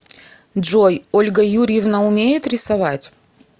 джой ольга юрьевна умеет рисовать